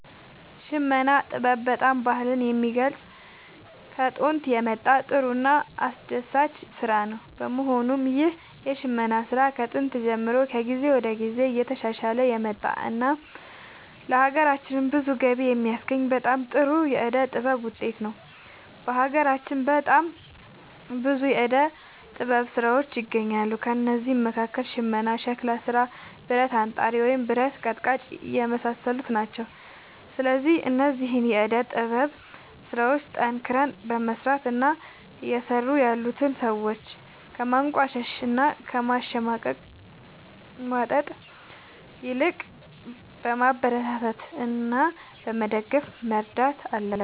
የሽመና ጥበብ በጣም ባህልን የሚገልፅ ከጦንት የመጣ ጥሩ እና አስደሳች ስራ ነው በመሆኑም ይህ የሽመና ስራ ከጥንት ጀምሮ ከጊዜ ወደ ጊዜ እየተሻሻለ የመጣ እና ለሀገራችንም ብዙ ገቢ የሚያስገኝ በጣም ጥሩ የዕደ ጥበብ ውጤት ነው። በሀገራችን በጣም ብዙ የዕደ ጥበብ ስራዎች ይገኛሉ ከእነዚህም መካከል ሽመና ሸክላ ስራ ብረት አንጣሪ ወይም ብረት ቀጥቃጭ የመሳሰሉት ናቸው። ስለዚህ እነዚህን የዕደ ጥበብ ስራዎች ጠንክረን በመስራት እና እየሰሩ ያሉትን ሰዎች ከማንቋሸሽ እና ከማሽሟጠጥ ይልቅ በማበረታታት እና በመደገፍ መርዳት አለብን